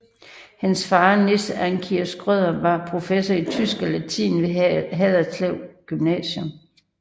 Hans far Nis Andkier Schrøder var Professor i tysk og latin ved Haderslev Gymnasium